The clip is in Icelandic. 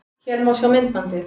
Hér má sjá myndbandið